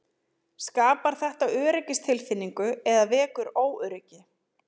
Skapar þetta öryggistilfinningu eða vekur óöryggi?